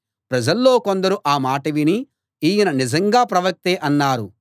ప్రజల్లో కొందరు ఆ మాట విని ఈయన నిజంగా ప్రవక్తే అన్నారు